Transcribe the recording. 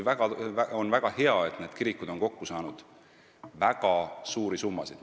On väga hea, et need kirikud on kokku saanud väga suuri summasid.